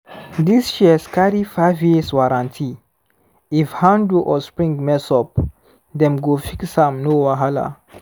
this shears carry five years warranty — if handle or spring mess up dem go fix am no wahala.